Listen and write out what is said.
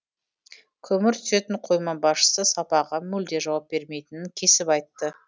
көмір түсетін қойма басшысы сапаға мүлде жауап бермейтінін кесіп айтты